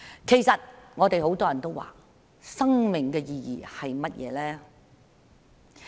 其實，我們很多人都問，生命的意義是甚麼？